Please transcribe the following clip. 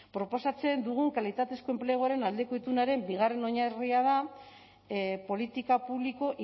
proposatzen dugun kalitatezko enpleguaren aldeko itunaren bigarren oinarria da politika publiko